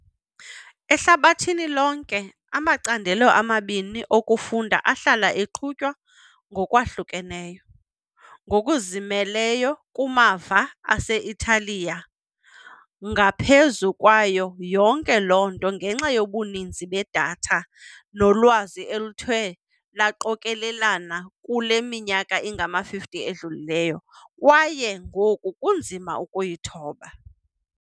Ehlabathini lonke, amacandelo amabini okufunda ahlala eqhutywa ngokwahlukeneyo, ngokuzimeleyo kumava ase-Italiya, ngaphezu kwayo yonke loo nto ngenxa yobuninzi bedatha nolwazi oluthe lwaqokelelana kule minyaka ingama-50 idlulileyo, kwaye ngoku kunzima ukuyithoba.